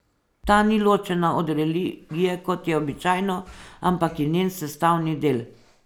Ta ni ločena od religije, kot je običajno, ampak je njen sestavni del.